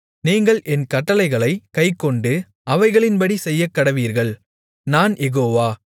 நீங்கள் என் கட்டளைகளைக் கைக்கொண்டு அவைகளின்படி செய்யக்கடவீர்கள் நான் யெகோவா